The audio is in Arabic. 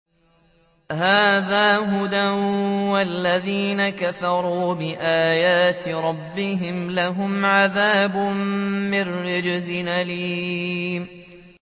هَٰذَا هُدًى ۖ وَالَّذِينَ كَفَرُوا بِآيَاتِ رَبِّهِمْ لَهُمْ عَذَابٌ مِّن رِّجْزٍ أَلِيمٌ